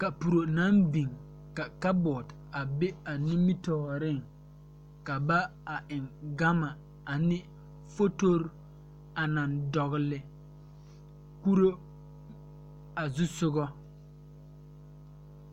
Kapuro naŋ biŋ ka kabɔɔte a be a nimitooreŋ ka ba a eŋ gama ane fotorre a naŋ dɔgle kuro a zusugɔ.